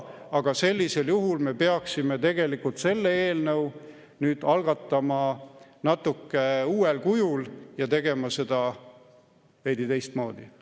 Aga sellisel juhul me peaksime tegelikult selle eelnõu nüüd algatama natuke uuel kujul ja tegema seda veidi teistmoodi.